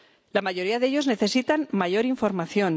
La mayoría de ellos necesitan mayor información.